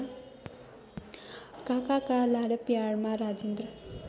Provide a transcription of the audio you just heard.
काकाका लाडप्यारमा राजेन्द्र